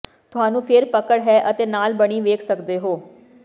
ਤੁਹਾਨੂੰ ਫਿਰ ਪਕੜ ਹੈ ਅਤੇ ਨਾਲ ਬਣੀ ਵੇਖ ਸਕਦੇ ਹੋ